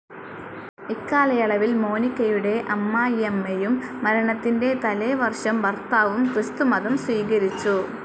ഇക്കാലയളവിൽ മോനികയുടെ അമ്മായിയമ്മയും, മരണത്തിൻ്റെ തലേവര്ഷം ഭർത്താവും ക്രിസ്തുമതം സ്വീകരിച്ചു.